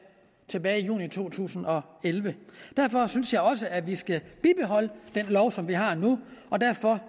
tilbage i juni to tusind og elleve derfor synes jeg også at vi skal bibeholde den lov som vi har nu og derfor